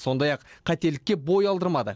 сондай ақ қателікке бой алдырмады